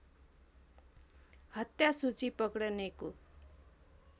हत्या सूची पक्डनेको